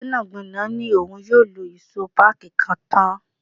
Gbẹ́nàgbẹ́nà ni òun yóò lọ ìṣó páàkí kan tán.